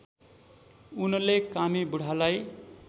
उनले कामी बुढालाई